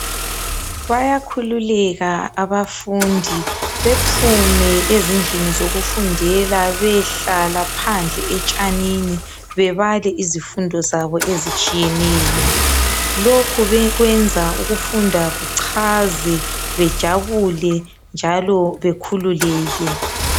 bayakhululeka abafundi bephume ezindlini zokufundela beyehlala phandle etshanini bebale izifundo zabo ezitshiyeneyo lokhu kwenza ukufunda kuchaze bejabule njalo bekhululeke